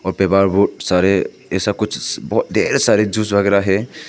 सारे ऐसा कुछ बहुत ढेर सारे जूस वगैरा है।